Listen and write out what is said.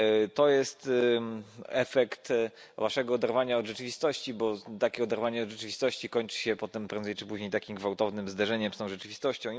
To jest efekt waszego oderwania od rzeczywistości, bo takie oderwanie od rzeczywistości kończy się potem prędzej czy później takim gwałtownym zdarzeniem z tą rzeczywistością.